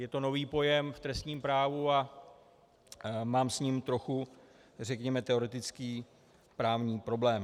Je to nový pojem v trestním právu a mám s ním trochu řekněme teoretický právní problém.